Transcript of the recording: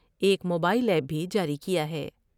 ایک mobile app بھی جاری کیا ہے ۔